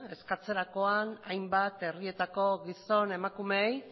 eskatzerakoan hainbat herrietako gizon emakumeei